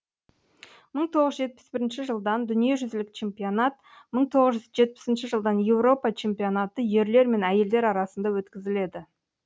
мың тоғыз жүз жетпіс бірінші жылдан дүниежүзілік чемпионат мың тоғыз жетпісінші жылдан еуропа чемпионаты ерлер мен әйелдер арасында өткізіледі